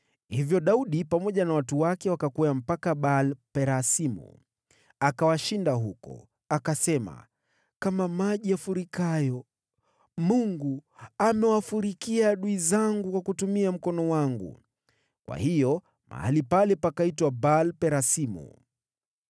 Hivyo Daudi pamoja na watu wake wakakwea mpaka Baal-Perasimu, akawashinda huko. Akasema, “Kama maji yafurikavyo, Mungu amewafurikia adui zangu kwa kutumia mkono wangu.” Kwa hiyo mahali pale pakaitwa Baal-Perasimu.